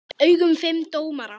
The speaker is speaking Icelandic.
augum fimm dómara.